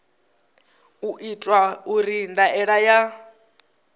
u itwa uri ndaela ya